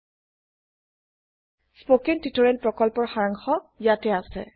httpspoken tutorialorgWhat is a Spoken tutorial spoken tutorial প্ৰকল্পৰ সাৰাংশ ইয়াতে আছে